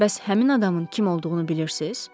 Bəs həmin adamın kim olduğunu bilirsiz?